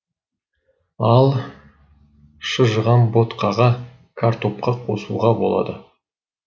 ал шыжыған ботқаға картопқа қосуға болады